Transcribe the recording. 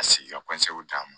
Ka se ka d'a ma